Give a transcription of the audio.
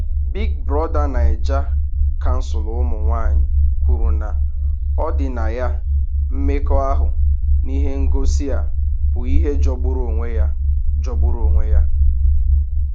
Big Brother Naija: Kansụl Ụmụ Nwanyị kwuru na ọdịnaya mmekọahụ n’ihe ngosi a bụ ihe jọgburu onwe ya. jọgburu onwe ya.